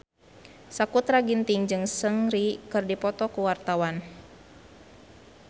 Sakutra Ginting jeung Seungri keur dipoto ku wartawan